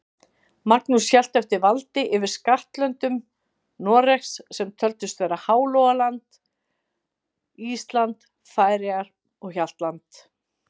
Magnús hélt eftir valdi yfir skattlöndum Noregs, sem töldust vera Hálogaland, Ísland, Færeyjar og Hjaltland.